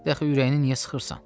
Niyə axı ürəyini niyə sıxırsan?